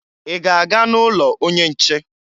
Ị ga-aga n'ụlọ onye nche?